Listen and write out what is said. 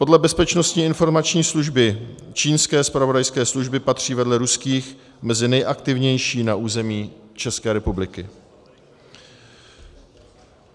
Podle Bezpečnostní informační služby čínské zpravodajské služby patří vedle ruských mezi nejaktivnější na území České republiky.